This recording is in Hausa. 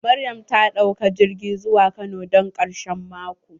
Maryam ta ɗauka jirgi zuwa kano don ƙarshen mako.